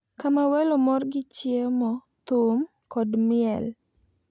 Kama welo mor gi chiemo, thum, kod miel,